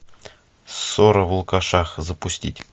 ссора в лукашах запустить